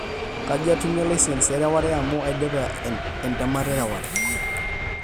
kaji atumie licence e reware amu aidipa entemata e reware